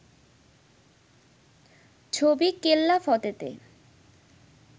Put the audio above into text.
ছবি কেল্লাফতেতে